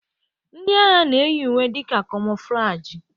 Ndị agha na-eyi uwe dị ka kamoflajị.